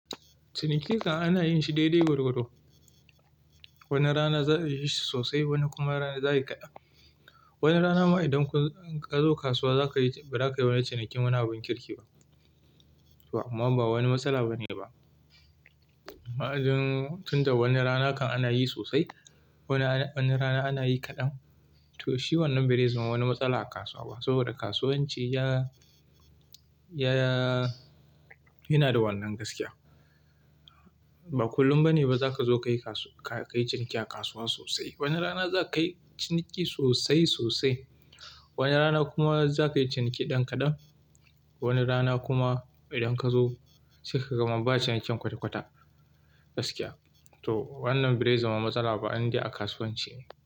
Ciniki ana yin shi daidai gwargwado. Wani rana za su yi shi sosai, wani kuma rana za su yi kaɗan. Wani rana ma idan ka zo kasuwa ba za ka yi wani cinikin. Wana abun kirki ba. To amma ba wani matsala bane ba. Ma'adin tunda wani rana kan ana yi sosai, wani rana ana yi kaɗan. To shi wannan bai ri zama wani matsala a kasuwa ba saboda kasuwanci yana da wannan gaskiya. Ba kullum bane ba za ka zo ka yi ciniki a kasuwa sosai. Wani rana za ka yi ciniki sosai sosai, wani rana kuma za ka yi ciniki ɗan kaɗan, wani rana kuma idan ka zo sai ka gama ba cinikin kwata kwata gaskiya. To wannan bai ri zama matsala ba inda a kasuwanci ne.